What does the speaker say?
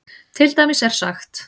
Til dæmis er sagt